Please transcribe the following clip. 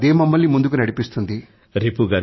అదే మమ్మల్ని ముందుకు నడిపిస్తుంది